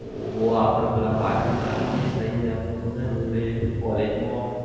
હોવ આપડે પેલા પાછલ નહતા બેસતા યાર આપડે બધા જોડે college માં